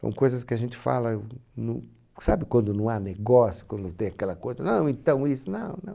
São coisas que a gente fala, sabe quando não há negócio, quando não tem aquela coisa, não, então isso, não, não.